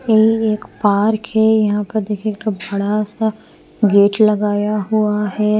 ये एक पार्क है यहां पर देखिए एक बड़ा सा गेट लगाया हुआ है।